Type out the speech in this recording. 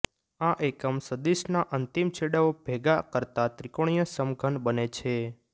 આ એકમ સદિશના અંતિમ છેડાઓ ભેગા કરતા ત્રિકોણીય સમઘન બને છે